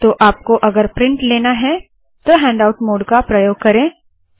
और आपको अगर प्रिंट लेना है तो हैण्डआउट मोड का प्रयोग करे